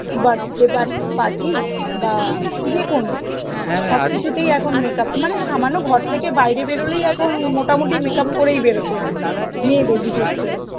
birthday পাত~ party বা যেকোনো সব কিছুতেই এখন makeup, মানে সামান্য ঘর থেকে বাইরে বেরোলেই এখন মত মুটি makeup করে বেরোতে হয় মেয়েদের বিশেষ করে